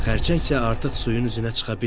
Xərçəng isə artıq suyun üzünə çıxdı.